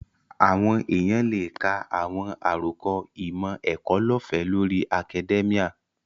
Àwọn èèyàn lè ka àwọn àròkọ ìmọ̀-ẹ̀kọ́ lọ́ọ̀fẹ́ lórí akadẹ́míà